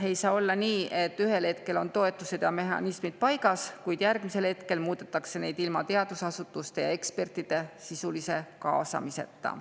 Ei saa olla nii, et ühel hetkel on toetused ja mehhanismid paigas, kuid järgmisel hetkel muudetakse neid ilma teadusasutusi ja eksperte sisuliselt kaasamata.